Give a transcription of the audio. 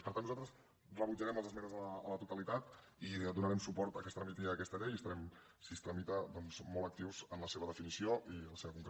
per tant nosaltres rebutjarem les esmenes a la totalitat i donarem suport a què es tramiti aquesta llei i estarem si es tramita doncs mot actius en la seva definició i la seva concreció